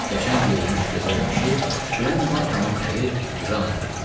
Qəşəng geyinmiş gözəl kişi, kürən Martanın əri Jan idi.